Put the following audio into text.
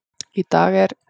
Í dag er